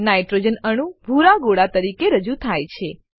nitrogen અણુ ભૂરા ગોળા તરીકે રજુ થાય છે